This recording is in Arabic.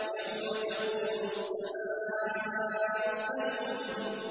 يَوْمَ تَكُونُ السَّمَاءُ كَالْمُهْلِ